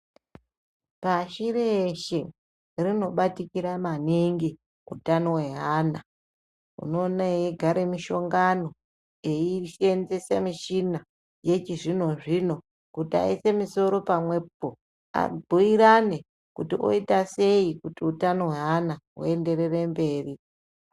Pashi reshe rinobatikira maningi utano hweana, unoone eigare mishongano eisenzese michina yechizvinozvino kuti aise misoro pamwepo abhuyirane kuti oitasei kuti utano hweana huenderere mberi.